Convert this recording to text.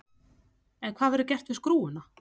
En hvað verður gert við skrúfuna?